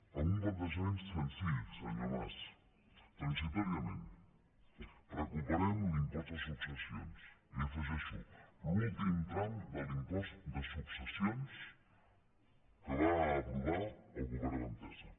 amb un plantejament senzill senyor mas transitòriament recuperem l’impost de successions i hi afegeixo l’últim tram de l’impost de successions que va aprovar el govern d’entesa